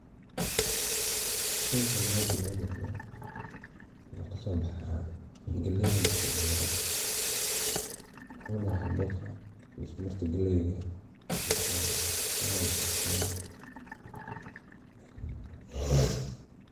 Sheygan mesha noga muqdo, boca galleyda wuxuu ka muuqdaa dhinaca dambe ee dadku wajahayaan waa qaybta hoose ee buuraleyda, halkaas oo galley aad u kortay ay taallo. Waaana lakarsadaa.